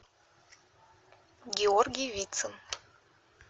георгий вицин